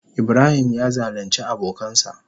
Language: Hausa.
Ibrahim ya zalunce abokansa.